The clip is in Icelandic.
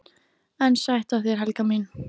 EN SÆTT AF ÞÉR, HELGA MÍN!